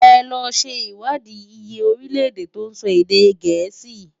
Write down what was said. È lò ṣé iwádi iyé órilè-èdè tó nsò èdè Gẹẹsi.